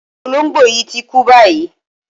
Olóǹgbò yí ti kú báyìí.